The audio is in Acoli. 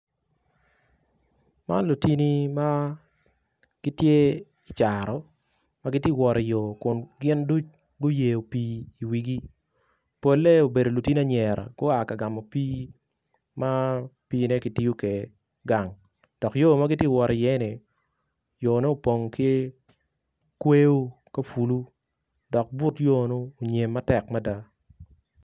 Man lutini ma gitye i caro ma gitye i yo kun gin ducu guyeyo pii i wigi polle gubedo lutini anyira gua ka gamo pii ma piine kitiyo kwede gang dok yo ma gitye ka wot iye-ni opong ki kweyo ka ofulo dok but nyonu onyem matek mada.